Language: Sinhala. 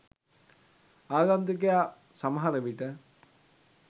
ආගන්තුකයා සමහර විට